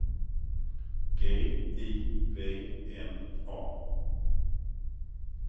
G I V N A